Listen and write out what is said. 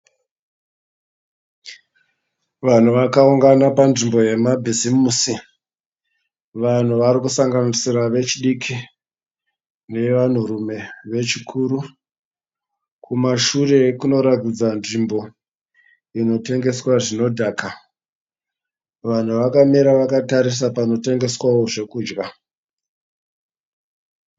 Vanhu vakaungana panzvimbo yemabhizimusi , vanhu varikusanganisira vechidiki nevanhurume vechikuru, kumashure kunoratidza nzvimbo inotengeswa zvinodhaka, vanhu vakamira vakatarisa panotengeswawo zvekudya.